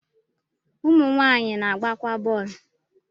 ụmụ nwanyị na-agbakwa bọ̀ọ̀lu